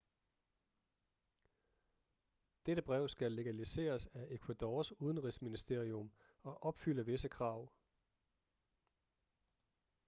dette brev skal legaliseres af ecuadors udenrigsministerium og opfylde visse krav